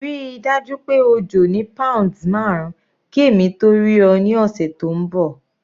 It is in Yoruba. Ríi dájú pé o jò ní pounds marun ki èmi tó rí ọ ní ọ̀sẹ̀ tó ń bọ̀.